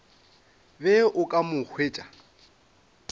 be o ka mo hwetša